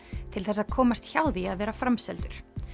til þess að komast hjá því að vera framseldur